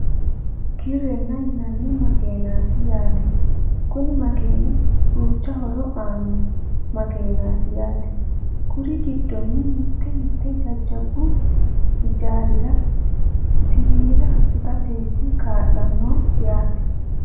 Kireene yinanni makaeenaati yaate Kuni makeeni duucha horo aano makeeneati yaate kuriuu giddonni mite mite jajjabbu ijaarira siwiila sutatee kaa'lano yaate